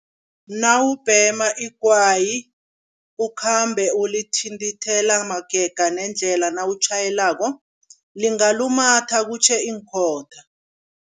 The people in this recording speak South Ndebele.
Nawubhema igwayi, ukhambe ulithintithela magega nendlela nawutjhayelako lingalumatha kutjho iinkhotha.